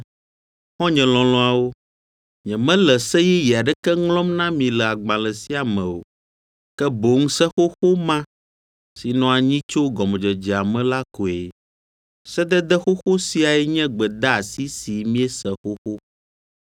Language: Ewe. Xɔ̃nye lɔlɔ̃awo, nyemele se yeye aɖeke ŋlɔm na mi le agbalẽ sia me o, ke boŋ se xoxo ma si nɔ anyi tso gɔmedzedzea me la koe. Sedede xoxo siae nye gbedeasi si miese xoxo.